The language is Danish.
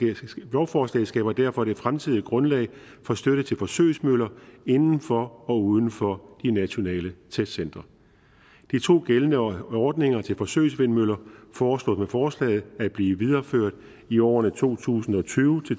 lovforslaget skaber derfor det fremtidige grundlag for støtte til forsøgsmøller inden for og uden for de nationale testcentre de to gældende ordninger til forsøgsvindmøller foreslås med forslaget at blive videreført i årene to tusind og tyve